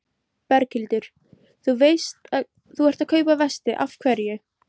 Berghildur: Þú ert að kaupa vesti, af hverju?